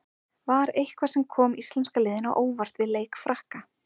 Var eitthvað sem kom íslenska liðinu á óvart við leik Frakka?